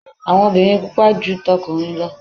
awo obìnrin pupa ju t'okunrin lọ